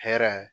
Hɛrɛ